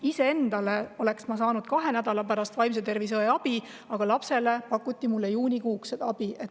Iseendale oleksin ma saanud vaimse tervise õe juurde kahe nädala pärast, aga lapsele pakuti mulle juunikuuks.